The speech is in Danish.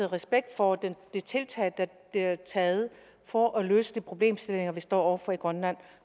respekt for de tiltag der bliver taget for at løse de problemstillinger vi står over for i grønland og